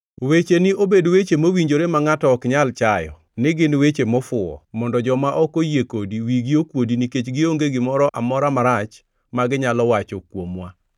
wecheni obed weche mowinjore ma ngʼato ok nyal chayo ni gin weche mofuwo mondo joma ok oyie kodi wigi okuodi nikech gionge gimoro amora marach ma ginyalo wacho kuomwa.